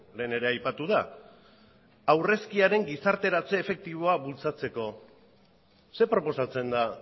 lehen ere aipatu da aurrezkiaren gizarteratze efektiboa bultzatzeko ze proposatzen da